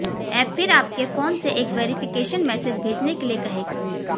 app फिर आपके phone से एक वेरिफिकेशन मैसेज भेजने के लिए कहेगा